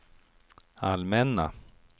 allmänna